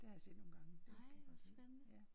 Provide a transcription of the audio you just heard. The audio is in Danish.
Nej hvor spændende